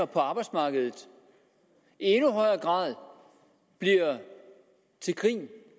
på arbejdsmarkedet i endnu højere grad bliver til grin